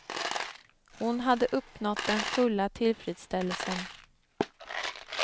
Hon hade uppnått den fulla tillfredsställelsen.